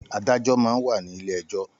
Àdájò mà n wá ni ilé èjò